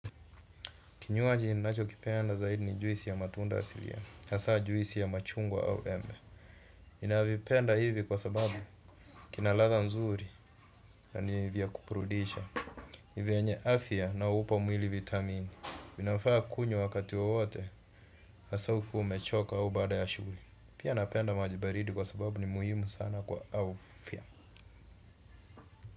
Kinywaji ninachokipenda zaidi ni juisi ya matunda asilia, hasa juisi ya machungwa au embe. Ninavipenda hivi kwa sababu kina ladha nzuri na ni vya kuburudisha. Ni vyenye afimya na hupa mwili vitamini. Inafaa kunywa wakati wowote hasa ukiwa umechoka au baada ya shughuli. Pia napenda maji baridi kwa sababu ni muhimu sana kwa afya.